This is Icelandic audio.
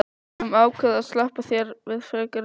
Við höfum ákveðið að SLEPPA ÞÉR VIÐ FREKARI REFSINGU.